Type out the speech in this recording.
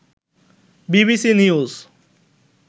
BBC news